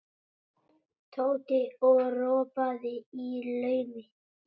Tóti og ropaði í laumi.